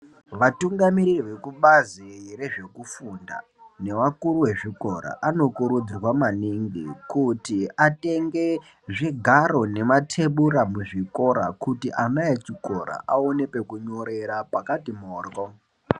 Vatungamiriri vezvekubazi rekufunda nevakuru vezvikora anokurudzirwa maningi kuti atenfe zvigaro nematebura muzvikora kuti ana echikora avane pekunyorera pakati modhlo .